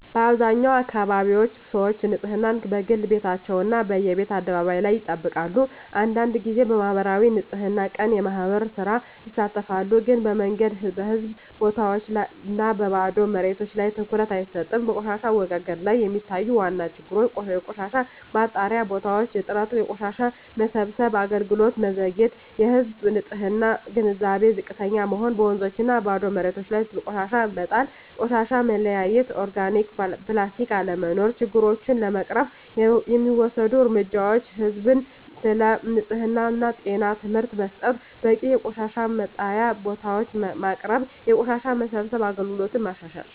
በአብዛኛው አካባቢዎች ሰዎች ንፅህናን፦ በግል ቤታቸው እና በየቤት አደባባይ ላይ ይጠብቃሉ አንዳንድ ጊዜ በማኅበራዊ የንፅህና ቀን (የማህበር ሥራ) ይሳተፋሉ ግን በመንገድ፣ በህዝብ ቦታዎች እና በባዶ መሬቶች ላይ ትኩረት አይሰጥም በቆሻሻ አወጋገድ ላይ የሚታዩ ዋና ችግሮች የቆሻሻ መጣያ ቦታዎች እጥረት የቆሻሻ መሰብሰብ አገልግሎት መዘግየት የህዝብ ንፅህና ግንዛቤ ዝቅተኛ መሆን በወንዞችና ባዶ መሬቶች ላይ ቆሻሻ መጣል ቆሻሻ መለያየት (ኦርጋኒክ/ፕላስቲክ) አለመኖር ችግሮቹን ለመቅረፍ የሚወሰዱ እርምጃዎች ህዝብን ስለ ንፅህና እና ጤና ትምህርት መስጠት በቂ የቆሻሻ መጣያ ቦታዎች ማቅረብ የቆሻሻ መሰብሰብ አገልግሎትን ማሻሻል